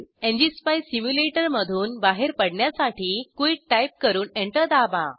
ngspice सिम्युलेटरमधून बाहेर पडण्यासाठी क्विट टाईप करून एंटर दाबा